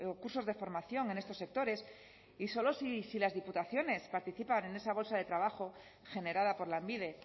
cursos de formación en estos sectores y solo si las diputaciones participan en esa bolsa de trabajo generada por lanbide